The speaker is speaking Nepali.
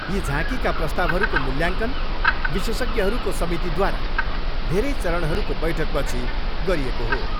यी झाँकीका प्रस्तावहरूको मूल्याङ्कन विशेषज्ञहरूको समितिद्वारा धेरै चरणहरूको बैठकपछि गरिएको हो।